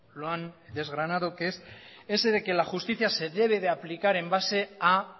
lo han desgranado que es ese de que la justicia se debe de aplicar en base a